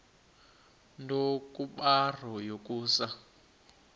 nto kubarrow yokusa